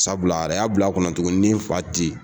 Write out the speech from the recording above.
Sabula a yɛrɛ y'a bila a kɔnɔ tugun ni n fa te yen